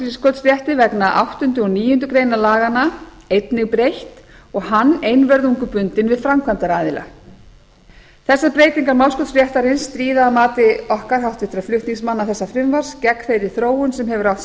þá var málskotsrétti vegna áttunda og níundu grein laganna einnig breytt og hann einvörðungu bundinn við framkvæmdaraðila þessar breytingar málskotsréttarins stríða að mati okkar háttvirtra flutningsmanna þessa frumvarps gegn þeirri þróun sem hefur átt sér